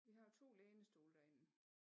Vi har 2 lænestole derinde